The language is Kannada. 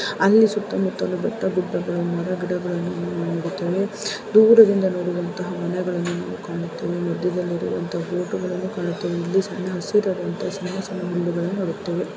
ಅಲ್ಲಿ ಸುತ್ತ ಮುತ್ತಲು ಬೆಟ್ಟ ಗುಡ್ಡಗಳು ಮರ ಗಿಡಗಳು ನೋಡುತೆವೆ ದೂರದಿಂದ ನೋಡುವಂತಹ ಮನೆಗಳು ಕಾಣುತೇವೆ ಮಧ್ಯದಲ್ಲಿ ಇರುವಂತಹ ಬೋಟು ಗಳನ್ನು ಕಾಣುತ್ತೆವೆ ಇಲ್ಲಿ ಸಣ್ಣ ಹಸಿರಾದಂತಹ ಸಣ್ಣ ಸಣ್ಣ ಹುಲ್ಲುಗಳನ್ನು ನೋಡುತ್ತೇವೆ.